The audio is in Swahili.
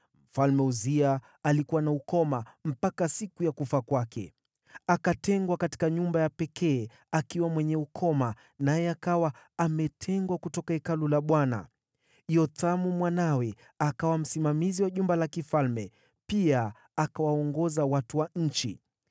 Mfalme Uzia alikuwa na ukoma mpaka siku ya kufa kwake. Akatengwa katika nyumba ya pekee akiwa mwenye ukoma, naye akawa ametengwa kutoka Hekalu la Bwana . Yothamu mwanawe akawa msimamizi wa jumba la mfalme, pia akawaongoza watu wa nchi.